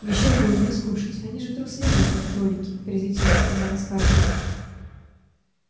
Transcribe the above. ещё бы им не скушать они же трусливые как кролики презрительно сказала скарлетт